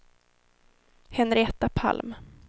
Henrietta Palm